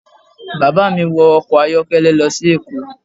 Bàbá mí wọ ọkọ̀ ayọ́kẹ́lẹ́ lọ sí èkó